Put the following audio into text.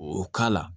O k'a la